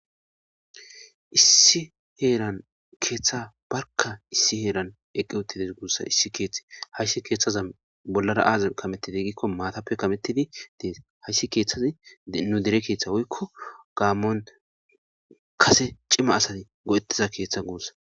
Issi heeran keeththa barka issi heeran eqqi wottides guussa issi keeththi hayssi keeththaza bollara aaza kametidi gikko maatappe kametidi dees hayssi keeththazi nu dere keeththa woykko gaammon kase cima asati go'ettiza keeththa guussa.